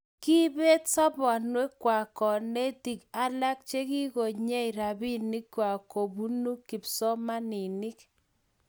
kiibet sobonwekwak konetik alak che kikonyei robinkwak kobunu kipsomanink